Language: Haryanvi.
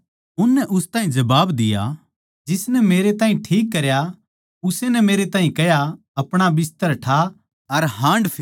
उसनै उन ताहीं जबाब दिया जिसनै मेरै ताहीं ठीक करया उस्से नै मेरै ताहीं कह्या अपणा बिस्तर ठा अर हाँडफिर